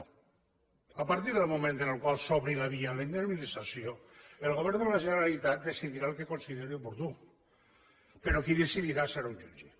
no a partir del moment en el qual s’obri la via a la indemnització el govern de la generalitat decidirà el que consideri oportú però qui decidirà serà un jutge